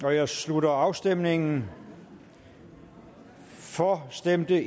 jeg slutter afstemningen for stemte